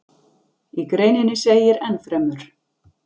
Í greininni segir enn fremur: